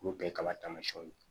K'u kɛ kaba tamasiyɛnw ye